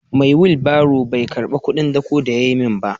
Mai wilbaron bai karba kudin dawko da yayi min ba.